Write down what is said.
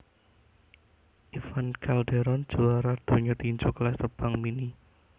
Ivan Calderon juwara donya tinju kelas terbang mini